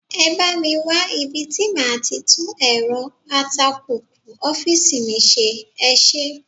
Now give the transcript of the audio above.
Ẹ bá mi wá ibi tí màá ti tún èrọ atakùkù ọ́fíìsì mi ṣe, ẹ ṣé.